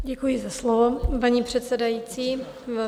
Děkuji za slovo, paní předsedající.